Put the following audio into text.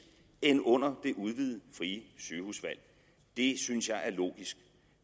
end under det udvidede frie sygehusvalg det synes jeg er logisk